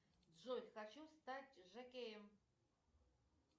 джой хочу стать жокеем